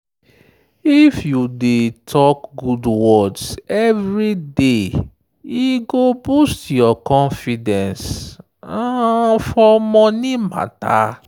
if you dey talk good words every day e go boost your confidence um for money matter.